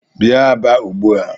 Bia Aba ugbu a!